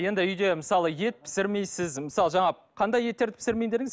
енді үйде мысалы ет пісірмейсіз мысалы жаңа қандай еттерді пісірмеймін дедіңіз